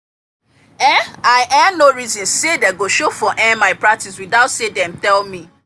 um i um no reason say dem go show for um my practice without say dem tell me